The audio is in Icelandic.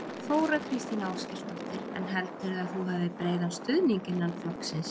Þóra Kristín Ásgeirsdóttir: En heldurðu að þú hafir breiðan stuðning innan flokksins?